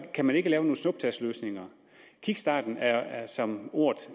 kan man ikke lave nogen snuptagsløsninger kickstarten er er som ordet